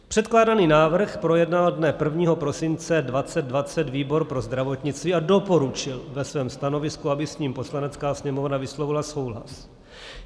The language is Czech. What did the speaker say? Předkládaný návrh projednal dne 1. prosince 2020 výbor pro zdravotnictví a doporučil ve svém stanovisku, aby s ním Poslanecká sněmovna vyslovila souhlas.